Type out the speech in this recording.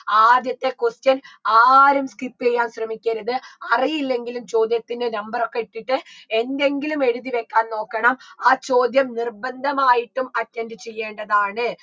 ആദ്യത്തെ question ആരും skip യ്യാൻ ശ്രമിക്കരുത് അറിയില്ലെങ്കിലും ചോദ്യത്തിന് number ഒക്കെ ഇട്ടിട്ട് എന്തെങ്കിലും എഴുതി വെക്കാൻ നോക്കണം ആ ചോദ്യം നിർബന്ധമായിട്ടും attend ചെയ്യേണ്ടതാണ്